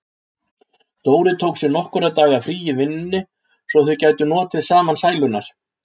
Dóri tók sér nokkurra daga frí í vinnunni svo þau gætu notið saman sælunnar.